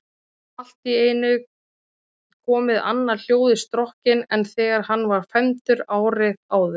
Allt í einu komið annað hljóð í strokkinn en þegar hann var fermdur árið áður.